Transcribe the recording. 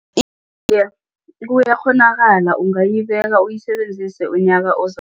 kuyakghonakala ungayibeka uyisebenzise unyaka